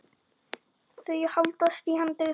Þau haldast í hendur.